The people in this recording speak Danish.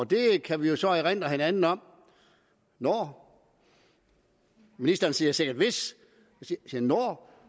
det kan vi jo så erindre hinanden om når ministeren siger sikkert hvis